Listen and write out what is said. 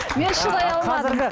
мен шыдай алмадым